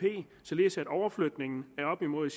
således at overflytningen af op imod